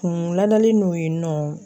Kun ladalen don yennɔ.